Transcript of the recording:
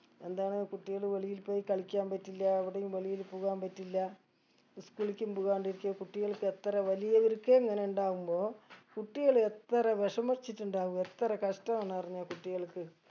എന്താണ് കുട്ടികള് വെളിയിൽ പോയി കളിക്കാൻ പറ്റില്ല എവിടെയും വെളിയിൽ പോകാൻ പറ്റില്ല school ക്കും പോകാണ്ടിരിക്ക കുട്ടികൾക്കെത്ര വലിയവർക്കേ ഇങ്ങനെ ഇണ്ടാകുമ്പോ കുട്ടികൾ എത്ര വിഷമിച്ചിട്ടുണ്ടാകും എത്ര കഷ്ടാവുംന്ന് അറിഞ്ഞാ കുട്ടികൾക്ക്